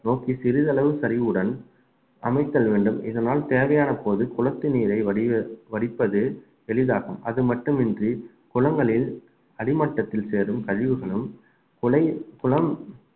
நோக்கி சிறிதளவு சரிவுடன் அமைத்தல் வேண்டும் இதனால் தேவையான போது குளத்து நீரை வடிக~ வடிப்பது எளிதாகும் அதுமட்டுமின்றி குளங்களில் அடிமட்டத்தில் சேரும் கழிவுகளும் கு~ குளம்